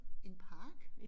En park